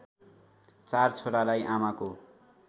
चार छोरालाई आमाको